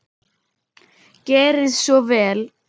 Gerið svo vel!